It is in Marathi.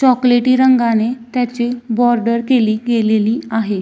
चॉकलेटी रंगाने त्याची बॉर्डर केली गेलेली आहे.